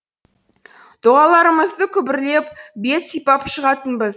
дұғаларымызды күбірлеп бет сипап шығатынбыз